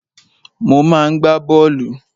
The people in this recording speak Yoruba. Mo máa ń gbá bọ́ọ̀lù.